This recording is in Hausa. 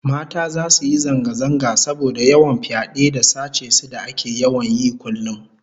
Mata zasu yi zanga-zanga saboda yawan fyade da sace su da ake yawan yi kullum